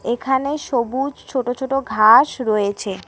এখানে সবুজ ছোটো ছোটো ঘাস রয়েছে।